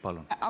Palun!